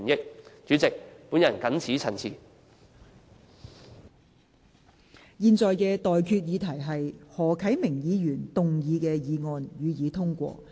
我現在向各位提出的待議議題是：何啟明議員動議的議案，予以通過。